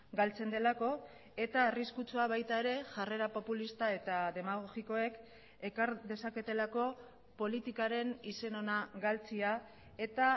galtzen delako eta arriskutsua baita ere jarrera populista eta demagogikoek ekar dezaketelako politikaren izen ona galtzea eta